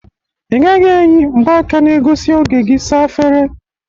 Ị gaghi eyi mgbaka na egosi oge gị saa efere!